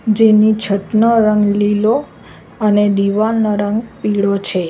જેની છતનો રંગ લીલો અને દિવાલનો રંગ પીળો છે.